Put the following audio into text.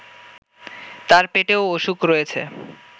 তার পেটেও অসুখ রয়েছে